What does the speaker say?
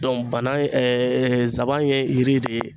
bana saban ye yiri de ye.